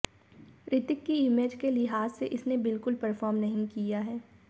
रितिक की इमेज के लिहाज से इसने बिल्कुल परफॉर्म नहीं किया है